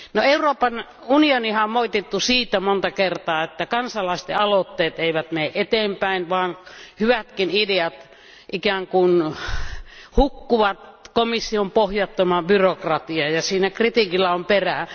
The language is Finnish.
Euroopan unioniahan on moitittu montaa kertaa siitä, että kansalaisten aloitteet eivät mene eteenpäin, vaan hyvätkin ideat ikään kuin hukkuvat komission pohjattomaan byrokratiaan, ja siinä kritiikissä on perää.